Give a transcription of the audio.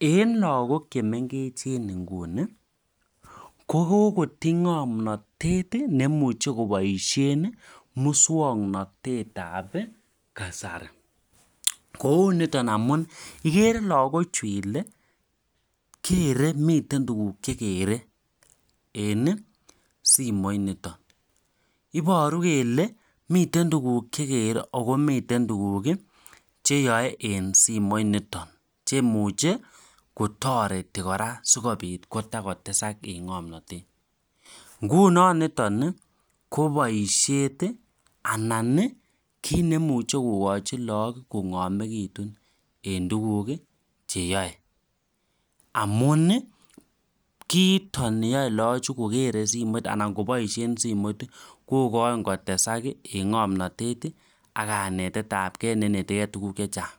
en lakok chemengech Nguni koboru Kele lakok kokoboishe moswaknatet ab kasari kouniton ikekre Ile lakochu komiten tukun chekere en simoinoton akomiten tukuk cheyai eng simonotok chetoreti kora sikobit kotesak eng ngomnatet sikotestai ngomnatet eng tukuk cheyai amun sikonyor kanetet neinetikei tukuk chechang